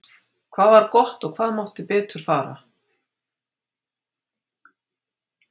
Hvað var gott og hvað mátti betur fara?